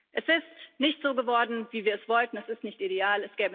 Es ist nicht so geworden, wie wir es wollten, es ist nicht ideal.